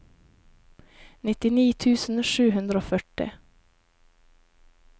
nittini tusen sju hundre og førti